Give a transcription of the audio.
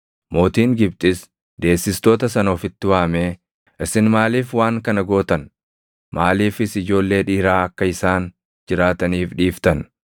Mootiin Gibxis deessistoota sana ofitti waamee, “Isin maaliif waan kana gootan? Maaliifis ijoollee dhiiraa akka isaan jiraataniif dhiiftan?” jedhee isaan gaafate.